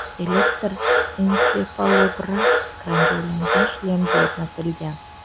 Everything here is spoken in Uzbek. Elektr ensefalograf ekranga ulangan shlemga o‘rnatilgan.